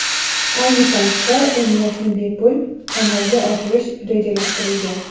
Ayni paytda emlashni bepul amalga oshirish rejalashtirilgan.